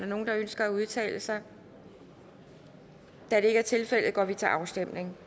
der nogen der ønsker at udtale sig da det ikke er tilfældet går vi til afstemning